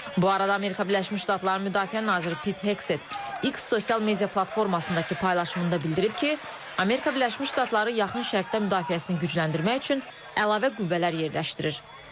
Bu arada Amerika Birləşmiş Ştatlarının müdafiə naziri Pit Hekset X sosial media platformasındakı paylaşımında bildirib ki, Amerika Birləşmiş Ştatları Yaxın Şərqdə müdafiəsini gücləndirmək üçün əlavə qüvvələr yerləşdirir.